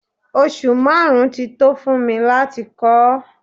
Oṣù márùn-ún tí tó fún mi láti kọ́ ọ.